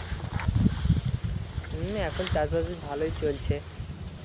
উম এখন চাষবাস বেশ ভালোই চলছে